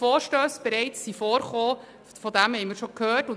Verstösse sind bereits vorgekommen, wie wir gehört haben.